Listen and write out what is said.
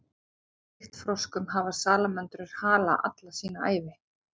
ólíkt froskum hafa salamöndrur hala alla sína ævi